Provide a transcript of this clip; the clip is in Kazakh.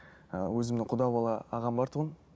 ыыы өзімнің құда бала ағам бар тұғын